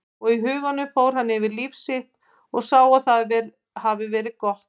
Og í huganum fór hann yfir líf sitt og sá að það hafði verið gott.